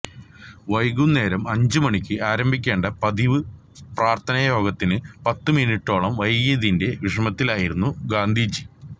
വൈകുന്നേരം അഞ്ചു മണിക്ക് ആരംഭിക്കേണ്ട പതിവ് പ്രാര്ത്ഥനായോഗത്തിന് പത്തു മിനിറ്റോളം വൈകിയതിന്റെ വിഷമത്തിലായിരുന്നു ഗാന്ധിജി